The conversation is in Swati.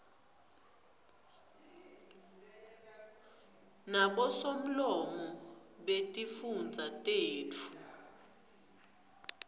nabosomlomo betifundza tetfu